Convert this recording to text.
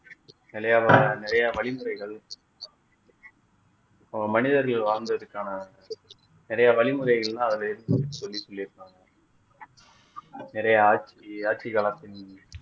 நிறைய வழிமுறைகள் மனிதர்கள் வாழ்ந்ததற்கான நிறைய வழிமுறைகள்லாம் அதுல இருக்குன்னு சொல்லி சொல்லி இருக்காங்க நிறைய ஆட்சி ஆட்சி காலத்தில்